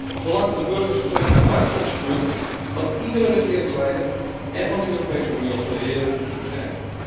Het belang van de burgers zou immers het uitgangspunt van iedere regeringsleider en van de Europese Unie als geheel moeten zijn.